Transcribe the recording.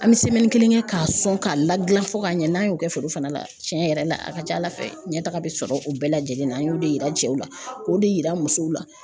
An bɛ kelen kɛ k'a sɔn k'a lagilan fo ka ɲɛ n'a y'o kɛ foro fana la tiɲɛ yɛrɛ la a ka ca Ala fɛ ɲɛtaga bi sɔrɔ o bɛɛ lajɛlen na, an y'o de yira cɛw la k'o de yira musow la .